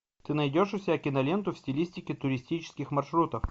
ты найдешь у себя киноленту в стилистике туристических маршрутов